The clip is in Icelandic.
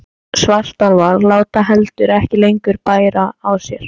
Svartálfar láta heldur ekki lengur bæra á sér.